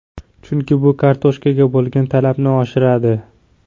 Chunki bu kartoshkaga bo‘lgan talabni oshiradi.